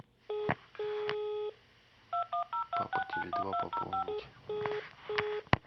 папа теле два пополнить